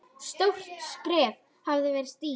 Stórt skref hafði verið stigið.